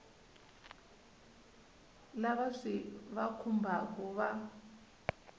lava swi va khumbhaka va